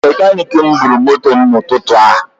Mekanik m bụrụ moto mụ na ụtụtụ a